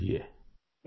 जी